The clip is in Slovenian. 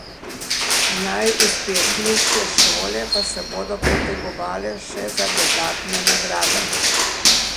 Najuspešnejše šole pa se bodo potegovale še za dodatne nagrade.